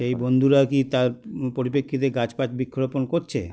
এই বন্ধুরা কী তার পরিপ্রেক্ষিতে গাছ ফাছ বৃক্ষরোপণ করছে